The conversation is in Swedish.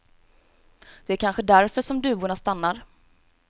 Det är kanske därför som duvorna stannar.